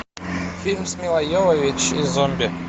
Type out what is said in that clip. фильм с милой йовович и зомби